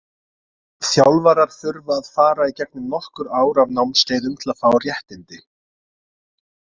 Þjálfarar þurfa að fara í gegnum nokkur ár af námskeiðum til að fá réttindi.